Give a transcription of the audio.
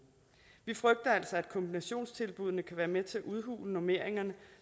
vi frygter altså at kombinationstilbuddene kan være med til at udhule normeringerne